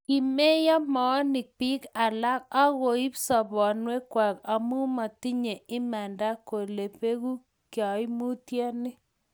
kimeyo moonik biik alak aku ib sobonwek kwak amu matinye imanda kule beku kaimutye ni